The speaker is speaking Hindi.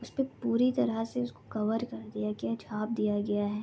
उसपे पूरी तरह से उसको कवर कर दिया गया हे छाप दिया गया है।